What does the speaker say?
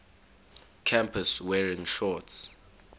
campus wearing shorts